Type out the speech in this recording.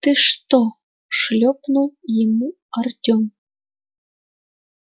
ты что шлёпнул ему артём